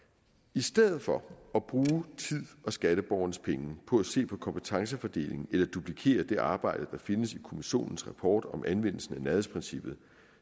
i stedet for at bruge tid og skatteborgernes penge på at se på kompetencefordeling eller duplikere det arbejde der findes i kommissionens rapport om anvendelsen af nærhedsprincippet